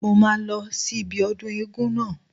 Mo máa lọ sí ibi ọdún eégún náà